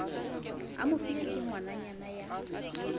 a mofilwe ke ngwananyana ya